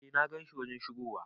Eh na gan shi wajen shigowa.